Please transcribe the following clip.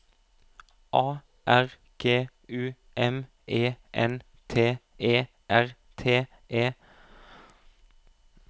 A R G U M E N T E R T E